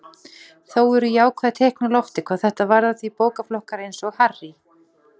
Þó eru jákvæð teikn á lofti hvað þetta varðar því bókaflokkar eins og Harry